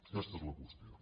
aquesta és la qües·tió